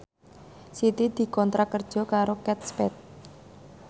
Siti dikontrak kerja karo Kate Spade